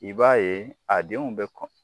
I b'a ye a denw bɛ kɔn